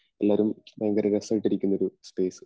എല്ലാരും ഭയങ്കര രസായിട്ട് ഇരിക്കണ ഒരു സ്പെയ്സ്